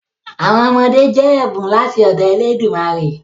Àwọn ọmọdé jẹ́ ẹ̀bùn láti ọ̀dọ elédùmarè.